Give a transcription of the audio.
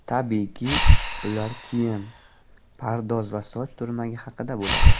Tabiiyki, ular kiyim, pardoz va soch turmagi haqida bo‘ladi.